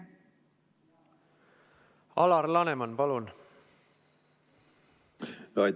Alar Laneman, palun!